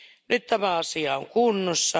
Nyt tämä asia on kunnossa.